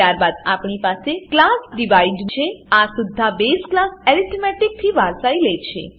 ત્યારબાદ આપણી પાસે ક્લાસ ડિવાઇડ ડીવાઇડ છે આ સુદ્ધા બેઝ ક્લાસ એરિથમેટિક એર્થમેટીક થી વારસાઈ લે છે